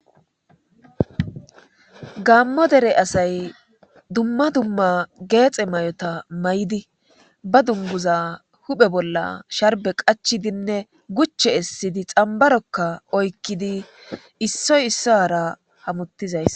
Gaammo dere asay dumma dumma geexe may'ota may'di ba dunguza huphe bolla sharbe qachi dinne guche essidi xambarokka oykkidi issoy issa hara hamuttizays.